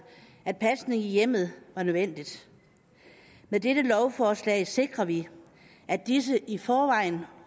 at pasning i hjemmet var nødvendig med dette lovforslag sikrer vi at disse i forvejen